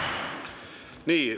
Nii.